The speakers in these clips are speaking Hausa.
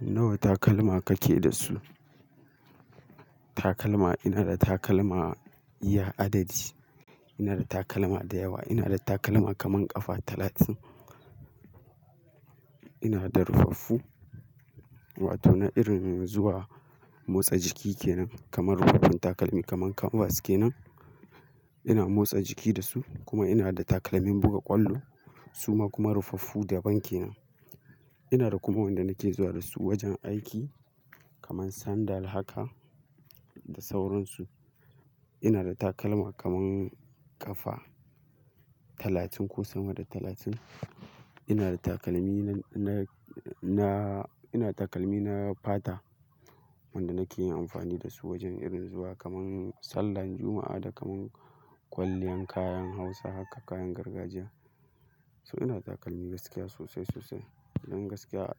Nawa takalma kake da su? Takalma, ina da takalma iya adadi. Ina da takalma da yawa. Ina da takalma kaman ƙafa talatin. Ina da rufaffu wato na irin zuwa motsa jiki ke nan kaman rufaffen takalmi kaman canvas ke nan. Ina motsa jiki da su kuma ina da takalmin buga ƙwallo suma kuma rufaffu daban kenan. Ina da kuma wanda nake zuwa da su wajen aiki kaman sandal haka da sauransu. Ina da takalma kaman ƙafa talatin ko sama da talatin. Ina da takalmi na, na, na, ina da takalmi na fata wanda nake yin amfani da su wajen irin zuwa kaman sallar Juma'a da kaman kwalliyan kayan hausa haka kayan gargajiya. So ina da takalmi gaskiya sosai, sosai. Don gaskiya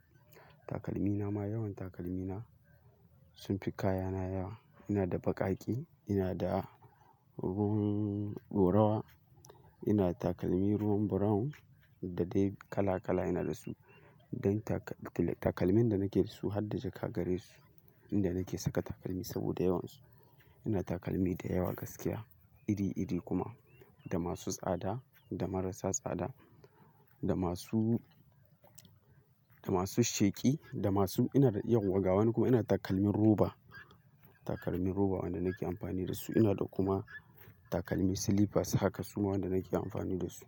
takalmi na ma yawan takalmi na sun fi kaya na yawa. Ina da baƙaƙe, ina da ruwan, ina da takalmi ruwan brown da dai kala kala ina da su. Don taka-- takalmin da nake da su har da zai kagare su inda nake saka takalmi saboda yawan su. Ina da takalmi da yawa gaskiya iri iri kuma da masu tsada, da marasa tsada, da masu, da masu sheƙi, da masu ina da ƴan wagawani kuma ina da takalmin roba. Takalmi roba wanda nake amfani da su. Ina da kuma takalmi slippers haka su ma wanda nake amfani da su.